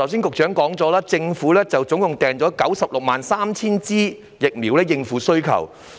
局長剛才說，政府總共預訂了963000劑疫苗來應付需求。